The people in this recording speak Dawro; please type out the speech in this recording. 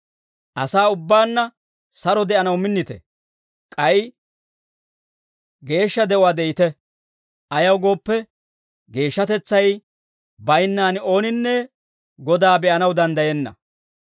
Asaa ubbaanna saro de'anaw minnite; k'ay geeshsha de'uwaa de'ite. Ayaw gooppe, geeshshatetsay baynnaan ooninne Godaa be'anaw danddayenna.